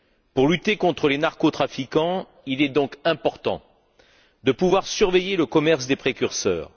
Pour lutter contre les narcotrafiquants, il est important de pouvoir surveiller le commerce des précurseurs.